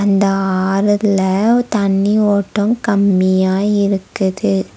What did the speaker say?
இந்த ஆறுல தண்ணி ஓட்டம் கம்மியா இருக்குது.